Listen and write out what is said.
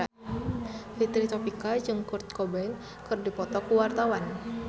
Fitri Tropika jeung Kurt Cobain keur dipoto ku wartawan